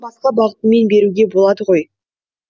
басқа бағытымен беруге болады ғой